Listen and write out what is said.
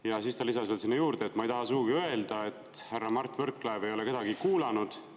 " Ja siis ta lisas veel sinna juurde: "Ma ei taha sugugi öelda, et härra Mart Võrklaev ei ole kedagi kuulanud.